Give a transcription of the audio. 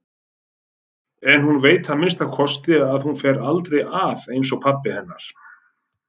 En hún veit að minnsta kosti að hún fer aldrei að einsog pabbi hennar.